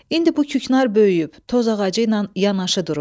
İndi bu küknar böyüyüb, toz ağacı ilə yanaşı durub.